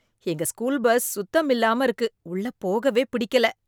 எங்க school bus சுத்தம் இல்லாம இருக்கு உள்ள போகவே பிடிக்கல.